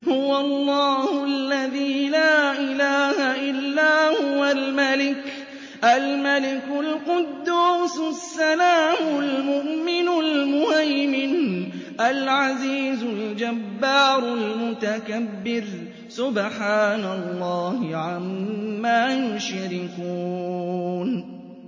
هُوَ اللَّهُ الَّذِي لَا إِلَٰهَ إِلَّا هُوَ الْمَلِكُ الْقُدُّوسُ السَّلَامُ الْمُؤْمِنُ الْمُهَيْمِنُ الْعَزِيزُ الْجَبَّارُ الْمُتَكَبِّرُ ۚ سُبْحَانَ اللَّهِ عَمَّا يُشْرِكُونَ